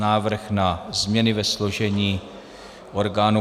Návrh na změny ve složení orgánů